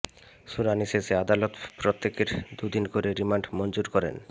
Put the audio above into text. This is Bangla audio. শুনানি শেষে আদালত প্রত্যেকের দুই দিন করে রিমান্ড মঞ্জুর করেন